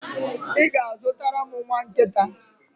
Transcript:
Ị ga-azụtara m nwa nkịta?